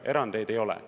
Erandeid ei ole.